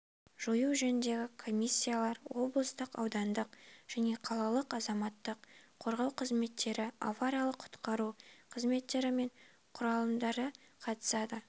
жою жөніндегі комиссиялар облыстық аудандық және қалалық азаматтық қорғау қызметтері авариялық-құтқару қызметтері мен құралымдары қатысады